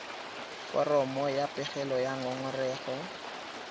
foromo ya pegelo ya ngongorego